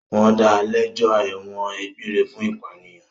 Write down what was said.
Wọ́n da lẹ́jọ́ ẹ̀wọ̀n egbére fún ìpànìyàn.